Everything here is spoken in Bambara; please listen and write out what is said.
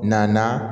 Na